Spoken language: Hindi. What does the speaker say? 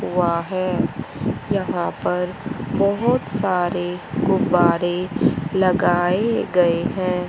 हुआ है यहां पर बहोत सारे गुब्बारे लगाए गए हैं।